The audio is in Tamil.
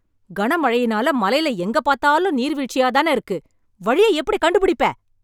கனமழையினால, மலையில எங்க பாத்தாலும் நீர் வீழ்ச்சியாதான இருக்கு... வழியை எப்டி கண்டுபிடிப்பே...